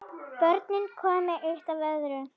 Börnin komu eitt af öðru.